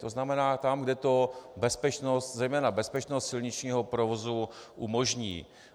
To znamená tam, kde to bezpečnost - zejména bezpečnost silničního provozu umožní.